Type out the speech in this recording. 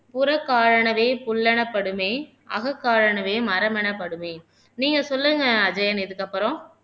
புறக்காரணவே புல்லெனப்படுமே அகக்காலவே மரமெனப்படுமே நீங்க சொல்லுங்க அஜயன் இதுக்கப்புறம்